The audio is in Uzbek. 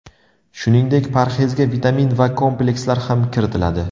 Shuningdek, parhezga vitamin va komplekslar ham kiritiladi.